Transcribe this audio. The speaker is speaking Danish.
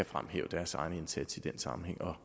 fremhæve deres egen indsats i den sammenhæng og